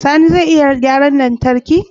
Sani ya iya gyaran lantarki?